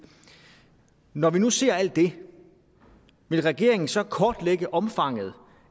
når vi nu ser alt det vil regeringen så kortlægge omfanget